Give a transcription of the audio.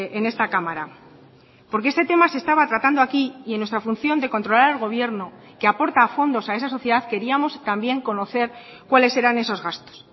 en esta cámara porque este tema se estaba tratando aquí y en nuestra función de controlar el gobierno que aporta fondos a esa sociedad queríamos también conocer cuáles eran esos gastos